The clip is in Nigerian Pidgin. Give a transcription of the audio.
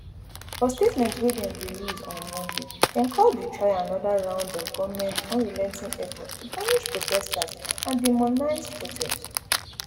for statement wey dem release on monday dem call di trial anoda round of goment unrelenting efforts to punish protesters and demonize protest